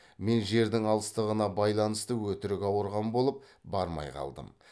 мен жердің алыстығына байланысты өтірік ауырған болып бармай қалдым